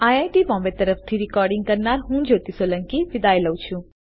IIT Bombay તરફથી હું શિવાની ગડા વિદાય લઉં છુંઆભાર